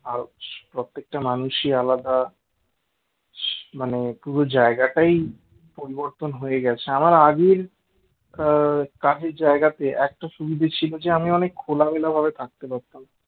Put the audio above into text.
প্রত্যেকটা মানুষই আলাদা মানে পুরো জায়গাটাই পরিবর্তন হয়ে গেছে আমার আগের কাজের জায়গাতে একটা সুবিধা ছিল যে আমি অনেক খোলামেলাভাবে থাকতে পারতাম